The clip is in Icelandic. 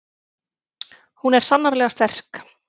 Hún er sannarlega sterk.